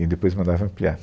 E depois mandava ampliar.